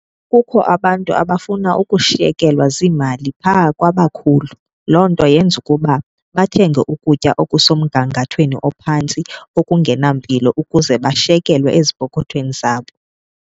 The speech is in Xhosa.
Kukho abantu abafuna ukushiyekelwa ziimali phaa kwabakhulu. Loo nto yenza ukuba bathenge ukutya okusemgangathweni ophantsi okungena mpilo ukuze bashiyekelwe ezipokothweni zabo.